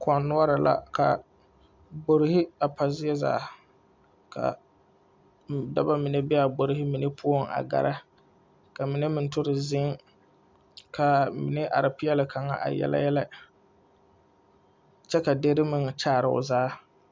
Koɔ nuore la Ka gborehe a pa zie zaa. Ka daba mene be a gborehe mene poʊŋ a gɛɛra. Ka mene meŋ ture zeŋ. Ka mene are piele kanga a yɛle yɛle. Kyɛ ka diere meŋ a kyaare o zaa